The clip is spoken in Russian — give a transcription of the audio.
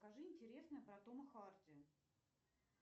скажи интересное про тома харди